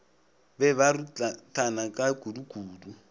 be ba ruthana ka kudukudu